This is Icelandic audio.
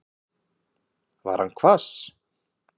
Var hann hvass?